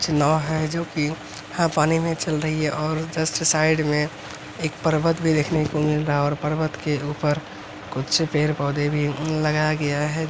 कुछ नाव हैं जो कि हाँ पानी में चल रही है और जस्ट साइड में एक पर्वत भी देखने को मिल रहा है और पर्वत के ऊपर कुछ पेड़-पौधे भी उम लगाया गया है ।